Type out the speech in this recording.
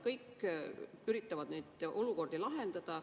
Kõik üritavad neid olukordi lahendada.